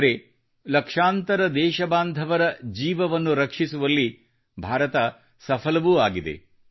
ಆದರೆ ಲಕ್ಷಾಂತರ ದೇಶಬಾಂಧವರ ಜೀವನವನ್ನು ರಕ್ಷಿಸುವಲ್ಲಿ ಭಾರತ ಸಫಲವೂ ಆಗಿದೆ